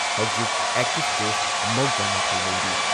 ꯍꯧꯖꯤꯛ active case ꯃꯧꯗ꯭ꯔꯥ ꯃꯥꯊꯣꯏ ꯂꯩꯔꯤ ꯫